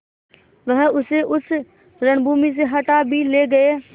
वह उसे उस रणभूमि से हटा भी ले गये